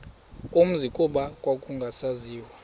umzi kuba kwakungasaziwa